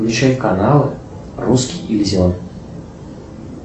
включай каналы русский иллюзион